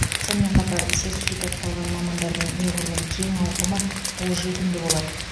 сонымен қатар сертификатталған мамандардың неғұрлым кең ауқымы қолжетімді болады